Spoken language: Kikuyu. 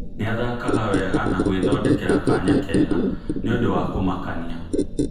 Nĩathakaga wega nagwethondĩkĩra kanya kega - nĩ ũndũ wa kũmakania